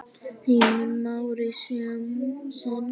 Heimir Már: Í senn?